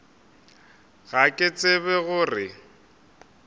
ga ke tsebe go re